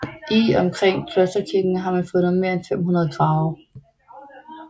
I og omkring klosterkirken har man fundet mere end 500 grave